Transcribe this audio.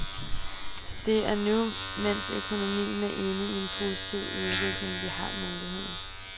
Det er nu, mens økonomien er inde i en positiv udvikling, vi har muligheden.